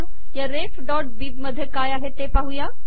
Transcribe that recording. आपण या refबिब मध्ये काय आहे ते पाहुया